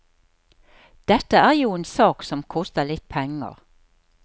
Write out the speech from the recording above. Dette er jo en sak som koster litt penger.